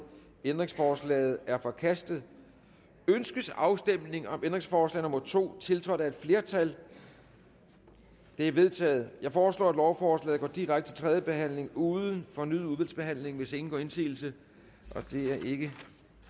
ændringsforslaget er forkastet ønskes afstemning om ændringsforslag nummer to tiltrådt af et flertal det er vedtaget jeg foreslår at lovforslaget går direkte til tredje behandling uden fornyet udvalgsbehandling hvis ingen gør indsigelse og det er ikke